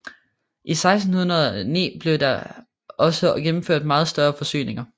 I 1609 blev der også gennemført meget større forsyninger